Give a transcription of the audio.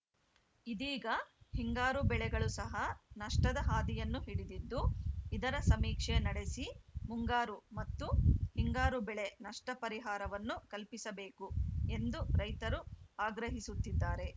ಇದೀಗ ಹಿಂಗಾರು ಬೆಳೆಗಳು ಸಹ ನಷ್ಟದ ಹಾದಿಯನ್ನು ಹಿಡಿದಿದ್ದು ಇದರ ಸಮೀಕ್ಷೆ ನಡೆಸಿ ಮುಂಗಾರು ಮತ್ತು ಹಿಂಗಾರು ಬೆಳೆ ನಷ್ಟಪರಿಹಾರವನ್ನು ಕಲ್ಪಿಸಬೇಕು ಎಂದು ರೈತರು ಆಗ್ರಹಿಸುತ್ತಿದ್ದಾರೆ